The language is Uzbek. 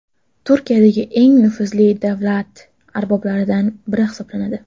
Turkiyadagi eng nufuzli davlat arboblaridan biri hisoblanadi.